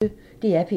DR P1